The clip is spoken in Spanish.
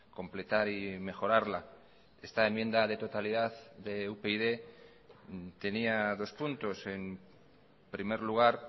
completar y mejorarla esta enmienda de totalidad de upyd tenía dos puntos en primer lugar